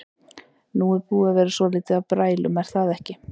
Nú er búið að vera svolítið af brælum er það ekki?